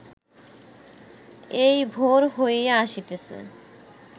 এই ভোর হইয়া আসিতেছে